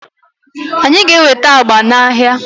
anyị ga-enweta agba n'ahịa